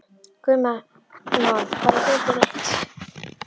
Guðmon, hvar er dótið mitt?